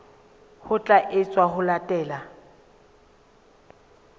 ho tla etswa ho latela